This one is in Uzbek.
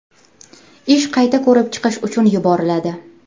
Ish qayta ko‘rib chiqish uchun yuboriladi.